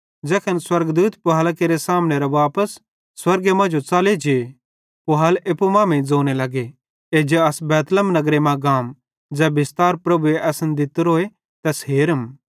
ज़ैखन स्वर्गदूत पुहालां केरे सामने वापस स्वर्गे मांजो च़ले जे पुहाल एप्पू मांमेइं ज़ोने लगे एज्जा अस बैतलहम नगरे मां गाम ज़ै बिस्तार प्रभुए असन दित्तोरोए तैस हेरम